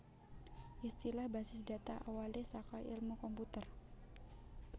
Istilah basis data awalé saka èlmu komputer